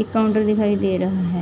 ਇੱਕ ਕਾਊਂਟਰ ਦਿਖਾਈ ਦੇ ਰਹਾ ਹੈ।